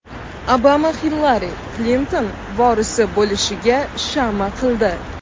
Obama Hillari Klinton vorisi bo‘lishiga shama qildi.